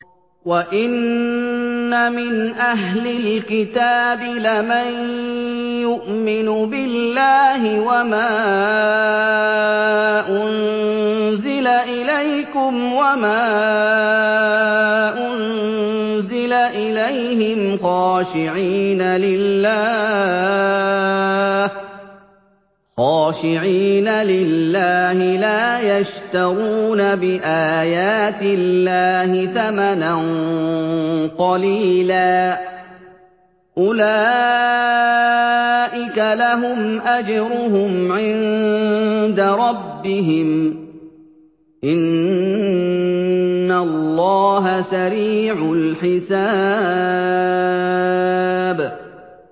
وَإِنَّ مِنْ أَهْلِ الْكِتَابِ لَمَن يُؤْمِنُ بِاللَّهِ وَمَا أُنزِلَ إِلَيْكُمْ وَمَا أُنزِلَ إِلَيْهِمْ خَاشِعِينَ لِلَّهِ لَا يَشْتَرُونَ بِآيَاتِ اللَّهِ ثَمَنًا قَلِيلًا ۗ أُولَٰئِكَ لَهُمْ أَجْرُهُمْ عِندَ رَبِّهِمْ ۗ إِنَّ اللَّهَ سَرِيعُ الْحِسَابِ